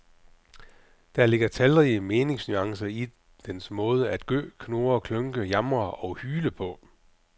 Der ligger talrige meningsnuancer i dens måde at gø, knurre, klynke, jamre og hyle på.